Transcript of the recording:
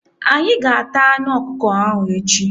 Anyị ga- ata anụ ọkụkọ ahụ echi.